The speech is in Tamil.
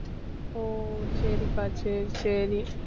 ஓ சரிக்கா சரி சரி